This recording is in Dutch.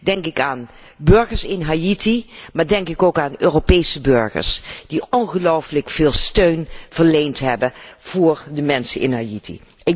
denk ik aan burgers in Haïti, maar denk ik ook aan Europese burgers die ongelooflijk veel steun verleend hebben voor de mensen in Haïti.